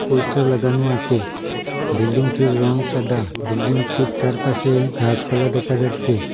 Poster লাগানো আছে বিল্ডিংটির রং সাদা বিল্ডিংটির চারপাশে ঘাসপালা দেখা যাচ্ছে।